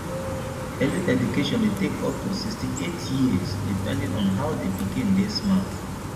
early education de take up to sixty eight years depending on how the pikin de smart